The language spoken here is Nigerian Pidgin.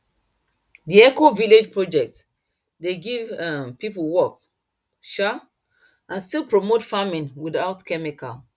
d ecovillage project dey give um people work um and still promote farming without chemical